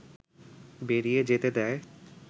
বেরিয়ে যেতে দেয়